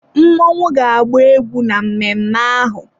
Mmọnwụ ga-agba egwú na mmemme ahụ.